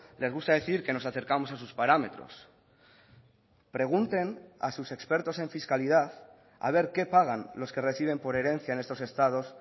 les gusta decir que nos acercamos a sus parámetros pregunten a sus expertos en fiscalidad a ver qué pagan los que reciben por herencia en estos estados